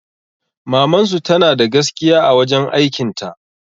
Mamansu tanada gaskiya a wajen aikin ta